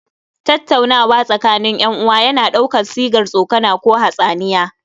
Tattaunawa tsakanin 'yan uwa yana ɗaukar sigar tsokana ko hatsaniya